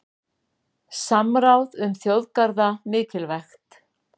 Samráð um þjóðgarða mikilvægt